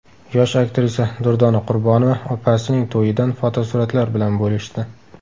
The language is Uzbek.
Yosh aktrisa Durdona Qurbonova opasining to‘yidan fotosuratlar bilan bo‘lishdi.